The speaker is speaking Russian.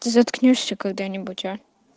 ты заткнёшься когда-нибудь а